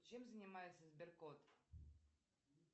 чем занимается сберкот